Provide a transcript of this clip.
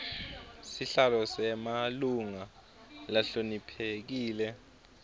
sihlalo nemalunga lahloniphekile